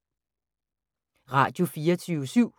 Radio24syv